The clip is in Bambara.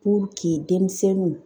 denmisɛnninw